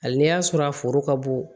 Hali n'i y'a sɔrɔ a foro ka bon